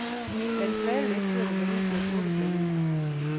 Lad det svale lidt, før det vendes i agurkeblandingen.